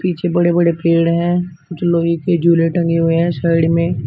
पीछे बड़े बड़े पेड़ हैं जो लोहे के झूले टंगे हुए हैं साइड में--